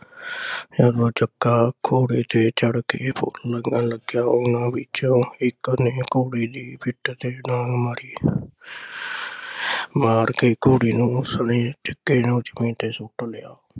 ਫਿਰ ਉਹ ਜੱਗਾ ਘੋੜੇ ਤੇ ਚੜ ਕੇ ਓਹਨਾ ਵਿੱਚੋ ਇਕ ਨੇ ਘੋੜੇ ਦੇ ਪਿੱਠ ਤੇ ਡਾਂਗ ਮਾਰੀ। ਮਾਰ ਕੇ ਘੋੜੇ ਨੂੰ ਉਸ ਨੇ ਧਕੇ ਨਾਲ ਜਮੀਨ ਤੇ ਸੁੱਟ ਲਿਆ ।